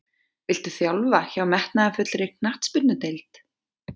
Viltu þjálfa hjá metnaðarfullri knattspyrnudeild?